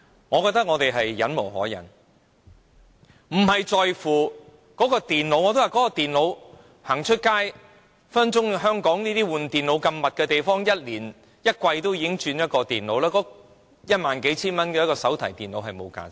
我覺得我們忍無可忍了，大家在乎的不是那台電腦，如今電腦更換頻率如此高，香港人更可能每季都會更換電腦，一萬數千元的手提電腦是沒有價值的。